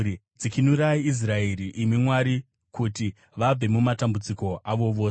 Dzikinurai Israeri, imi Mwari, kuti vabve mumatambudziko avo ose!